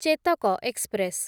Chetak express